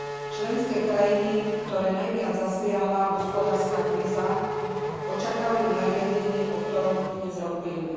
Členské krajiny, ktoré najviac zasiahla hospodárska kríza, očakávajú nariadenie, o ktorom dnes rokujeme.